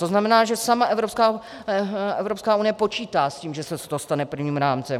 To znamená, že sama Evropská unie počítá s tím, že se to stane právním rámcem.